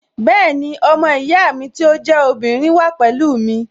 Bẹ́ẹ̀ni, ọmọ ìyá mi tí ó jẹ́ obìnrin wà pẹ̀lú mi